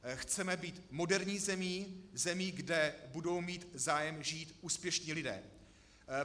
Chceme být moderní zemí, zemí, kde budou mít zájem žít úspěšní lidé.